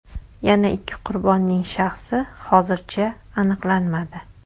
Yana ikki qurbonning shaxsi hozircha aniqlanmadi.